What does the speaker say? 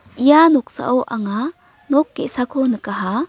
ia noksao anga nok ge·sako nikaha.